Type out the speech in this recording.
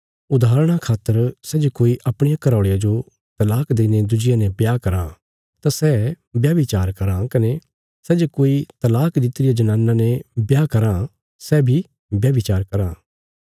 उदाहरणा खातर सै जे कोई अपणिया घराऔल़िया जो तलाक देईने दुज्जिया ने ब्याह कराँ तां सै व्याभिचार कराँ कने सै जे कोई तलाक दित्ति रिया जनाना ने ब्याह कराँ सै बी व्याभिचार कराँ